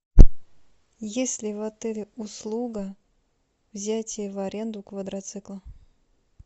есть ли в отеле услуга взятия в аренду квадроцикла